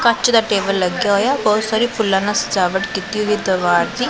ਕੱਚ ਦਾ ਟੇਬਲ ਲੱਗਾ ਹੋਇਆ ਬਹੁਤ ਸਾਰੇ ਫੁੱਲਾਂ ਨਾਲ ਸਜਾਵਟ ਕੀਤੀ ਹੋਈ ਦੀਵਾਰ ਦੀ।